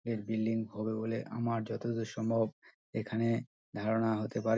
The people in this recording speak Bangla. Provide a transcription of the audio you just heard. এর বিল্ডিং হবে বলে আমার যতদূর সম্ভব এখানে ধারণা হতে পারে ।